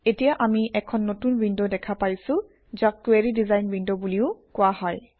এতিয়া আমি এখন নতুন উইণ্ড দেখা পাইছোঁ যাক কুৱেৰি ডিজাইন উইণ্ড বুলিও কোৱা হয়